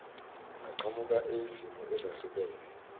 angaqhamuka eyizimo ezehlukahlukene